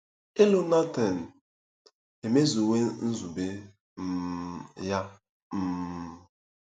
Ilu Netan emezuwo nzube um ya um